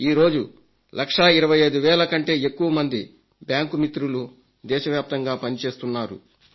ఈరోజు లక్షా 25 వేల కంటే ఎక్కువ మంది బ్యాంకు మిత్రులు దేశవ్యాప్తంగా పని చేస్తున్నారు